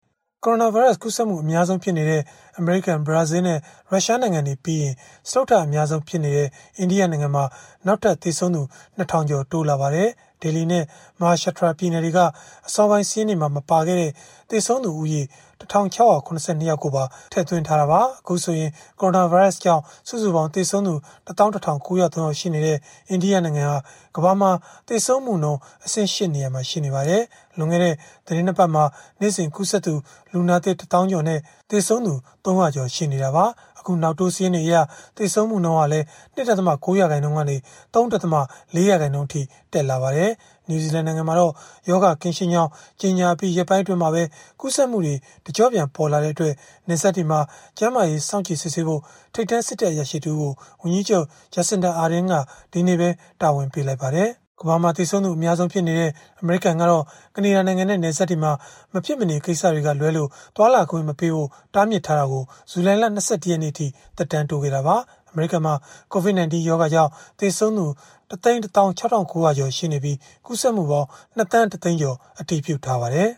ကိုရိုနာဗိုင်းရပ်စ် ကူးစက်မှု အများဆုံးဖြစ်နေတဲ့ အမေရိကန်၊ ဘရာဇီးလ်နဲ့ ရုရှားနိုင်ငံတွေပြီးရင် စတုတ္ထအများဆုံးဖြစ်တဲ့ အိန္ဒိယနိုင်ငံမှာ နောက်ထပ် သေဆုံးသူ ၂,၀၀၀ ကျော် တိုးလာပါတယ်။ Delhi နဲ့ Maharashtra ပြည်နယ်တွေက အစောပိုင်းစာရင်းတွေမှာ မပါခဲ့တဲ့ သေဆုံးသူဦးရေ ၁,၆၇၂ ယောက်ပါ ထည့်သွင်းထားတာပါ။ အခုဆိုရင် ကိုရိုနာဗိုင်းရပ်စ်ကြောင့် စုစုပေါင်းသေဆုံးသူ ၁၁,၉၀၃ ယောက် ရှိနေတဲ့ အိန္ဒိယနိုင်ငံဟာ ကမ္ဘာမှာ သေဆုံးမှုနှုန်း အဆင့် ၈ နေရာမှာ ရှိနေပါတယ်။ လွန်ခဲ့တဲ့ သီတင်း ၂ ပတ်မှာ နေ့စဉ်ကူးစက်သူ လူနာသစ် ၁၀,၀၀၀ ကျော်နဲ့ သေဆုံးသူ ၃၀၀ ကျော် ရှိနေတာပါ။ အခုနောက်တိုး စာရင်းတွေအရ သေဆုံးမှုနှုန်းဟာလည်း ၂.၉ ရာခိုင်နှုန်းကနေ ၃.၄ ရာခိုင်နှုန်းအထိ တက်လာပါတယ်။ နယူးဇီလန်နိုင်ငံမှာတော့ ရောဂါကင်းရှင်းကြောင်း ကြေညာအပြီး ရက်ပိုင်းအတွင်းမှာပဲ ရောဂါကူးစက်မှုတွေ တကျော့ပြန်ပေါ်လာတဲ့အတွက် နယ်စပ်တွေမှာ ကျန်းမာရေးစောင့်ကြည့်စစ်ဆေးဖို့ ထိပ်တန်းစစ်တပ်အရာရှိ တဦးကို ဝန်ကြီးချုပ် Jacinda Ardern က ဒီကနေ့ပဲ တာဝန်ပေးလိုက်ပါတယ်။ ကမ္ဘာမှာသေဆုံးသူ အများဆုံးဖြစ်နေတဲ့ အမေရိကန်ကတော့ ကနေဒါနိုင်ငံနဲ့ နယ်စပ်တွေမှာ မဖြစ်မနေကိစ္စက လွဲလို့ သွားလာခွင့်မပေးဖို့ ပိတ်ထားတာကို ဇူလိုင်လ ၂၁ ရက်နေ့အထိ သက်တမ်းတိုးခဲ့တာပါ။ အမေရိကန်မှာ COVID-19 ရောဂါကြောင့် သေဆုံးသူ ၁၁၆,၉၀၀ ကျော် ရှိနေပြီး ကူးစက်မှုပေါင်း ၂,၁၀၀,၀၀၀ ကျော် အတည်ပြုထားပါတယ်